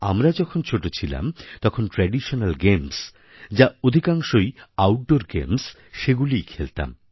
আমরা যখন ছোটো ছিলাম তখন ট্র্যাডিশনাল গেমস যা অধিকাংশই আউটডোর গেমস সেইগুলি খেলতাম